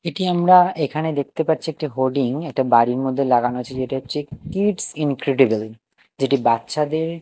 এটি আমরা এখানে দেখতে পাচ্ছি একটি হোর্ডিং একটা বাড়ির মধ্যে লাগানো আছে যেটি হচ্ছে কিডস ইনক্রেডিবল যেটি বাচ্চাদের--